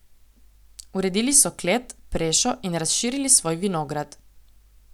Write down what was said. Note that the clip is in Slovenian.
Uredili so klet, prešo in razširili svoj vinograd.